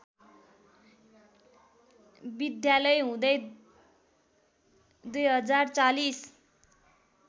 विद्यालय हुँदै २०४०